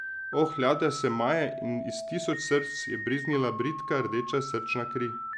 Oh, ladja se maje in iz tisoč src je brizgnila bridka, rdeča srčna kri.